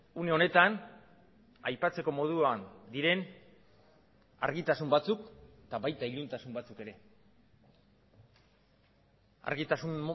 une honetan aipatzeko moduan diren argitasun batzuk eta baita iluntasun batzuk ere argitasun